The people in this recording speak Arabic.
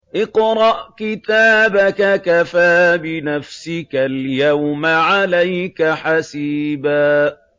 اقْرَأْ كِتَابَكَ كَفَىٰ بِنَفْسِكَ الْيَوْمَ عَلَيْكَ حَسِيبًا